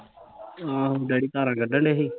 ਆਹੋ ਡੈਡੀ ਧਾਰਾ ਕੱਢਣ ਡਏ ਸੀ